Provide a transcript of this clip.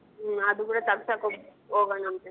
ಹ್ಮ್ ಅದು ಕೂಡ ತಗ್ಸಕ್ ಹೊಗ್~ ಹೋಗಣಂತೆ.